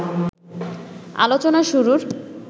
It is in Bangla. আলোচনা শুরুর